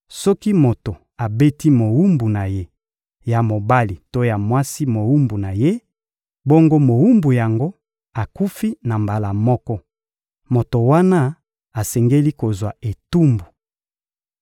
Soki moto abeti mowumbu na ye ya mobali to mwasi mowumbu na ye, bongo mowumbu yango akufi na mbala moko, moto wana asengeli kozwa etumbu.